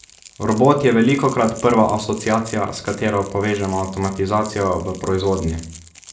Robot je velikokrat prva asociacija, s katero povežemo avtomatizacijo v proizvodnji.